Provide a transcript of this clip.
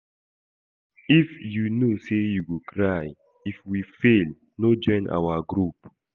If you know say you go cry if we fail no join our group